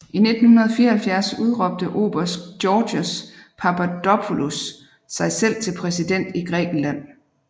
I 1974 udråbte oberst Georgios Papadopoulos sig selv til præsident i Grækenland